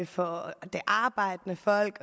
for det arbejdende folk